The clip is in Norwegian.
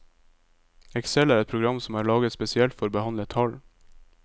Excel er et program som er laget spesielt for å behandle tall.